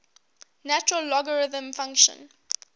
natural logarithm function